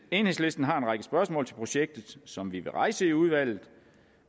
enhedslisten har en række spørgsmål til projektet som vi vil rejse i udvalget